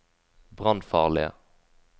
brannfarlige